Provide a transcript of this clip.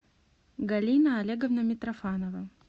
галина олеговна митрофанова